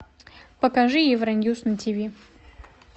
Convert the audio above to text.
покажи евроньюс на тв